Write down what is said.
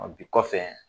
Bi kɔfɛ